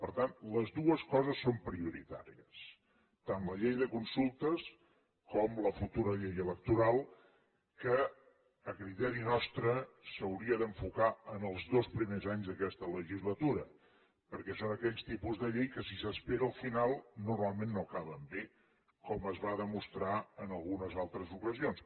per tant les dues coses són prioritàries tant la llei de consultes com la futura llei electoral que a criteri nostre s’hauria d’enfocar en els dos primers anys d’aquesta legislatura perquè són aquells tipus de llei que si s’espera al final normalment no acaben bé com es va demostrar en algunes altres ocasions